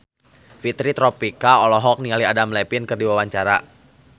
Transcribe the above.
Fitri Tropika olohok ningali Adam Levine keur diwawancara